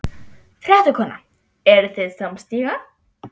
Fréttakona: Eruð þið samstíga?